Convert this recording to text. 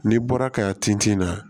N'i bɔra ka tin na